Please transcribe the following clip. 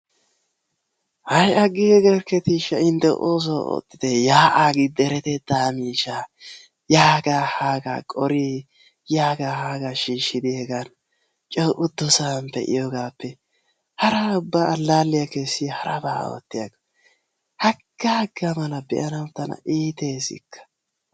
Hay agiigerkketishsha intte oosuwa oottite ya'aa gi deretettaa miishshaa yaagaa haagaa qori yaga haga shiishidi hegan coo uttosan pee'iyogappe hara ubba allaalliya keessiya haraba oottiyakko. Hagaa hagaa be'anawu ubba tana iitees.